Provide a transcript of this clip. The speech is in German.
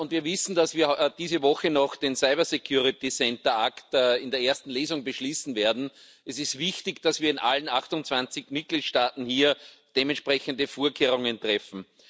Wir wissen, dass wir diese Woche noch den in der ersten Lesung beschließen werden. Es ist wichtig, dass wir in allen 28 Mitgliedstaaten hier dementsprechende Vorkehrungen treffen.